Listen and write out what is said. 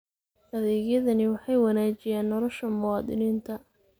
Adeegyadani waxay wanaajiyaan nolosha muwaadiniinta.